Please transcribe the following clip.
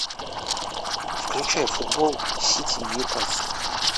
включай футбол сити ньюкасл